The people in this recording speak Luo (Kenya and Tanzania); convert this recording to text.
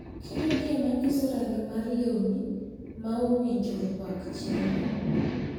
Kidogi ema nyiso rangi mar lewni ma owinjo rwak chieng`no.